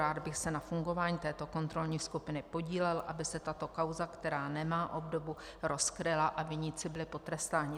Rád bych se na fungování této kontrolní skupiny podílel, aby se tato kauza, která nemá obdobu, rozkryla a viníci byli potrestání."